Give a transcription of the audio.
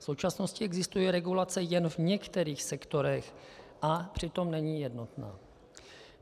V současnosti existuje regulace jen v některých sektorech a přitom není jednotná.